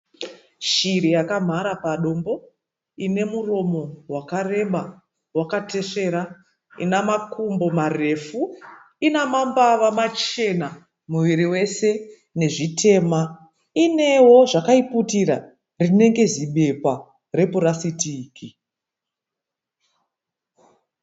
Shiri yakamhara padombo. Inemuromo wakareba wakatesvera. Inamakumbo marefu. Ina mambava machena muviri wese nezvitema. Inewo zvakaiputira rinenge zibepa repurasitiki.